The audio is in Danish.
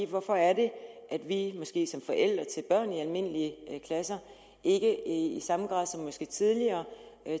hvorfor er det vi måske som forældre til børn i almindelige klasser ikke i samme grad som tidligere